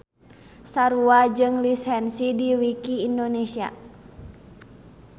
Sarua jeung lisensi di wiki indonesia